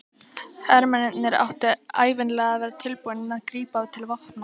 Hermennirnir áttu ævinlega að vera tilbúnir að grípa til vopna.